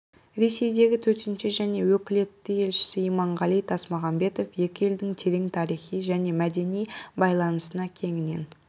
ресейдегі төтенше және өкілетті елшісі иманғали тасмағамбетов екі елдің терең тарихи және мәдени байланысына кеңінен